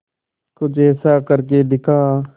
कुछ ऐसा करके दिखा